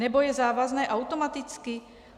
Nebo je závazné automaticky?